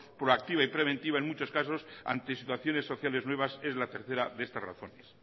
proactiva y preventiva en muchos casos ante situaciones sociales nuevas es la tercera de estas razones